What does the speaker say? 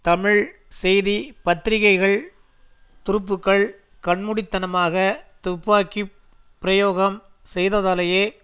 தமிழ் செய்தி பத்திரிகைகள் துருப்புக்கள் கண்மூடித்தனமாக துப்பாக்கி பிரயோகம் செய்ததாலேயே